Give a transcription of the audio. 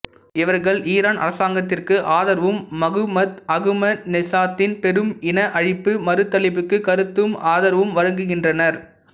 இவர்கள் ஈரான் அரசாங்கத்திற்கு ஆதரவும் மகுமூத் அகமதிநெச்சாத்தின் பெரும் இன அழிப்பு மறுதலிப்புக்குக் கருத்துக்கு ஆதரவும் வழங்குகின்றனர்